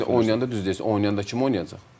Məşq eləyəndə, düz deyirsən, oynayanda kim oynayacaq?